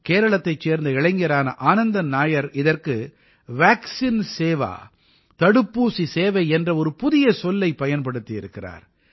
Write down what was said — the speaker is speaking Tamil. கேரளத்தைச் சேர்ந்த இளைஞரான ஆனந்தன் நாயர் இதற்கு வாக்சின் சேவா தடுப்பூசி சேவை என்ற ஒரு புதிய சொல்லைப் பயன்படுத்தியிருக்கிறார்